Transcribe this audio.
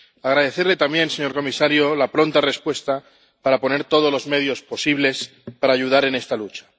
Quisiera agradecerle también, señor comisario, la pronta respuesta para poner todos los medios posibles para ayudar en esta lucha.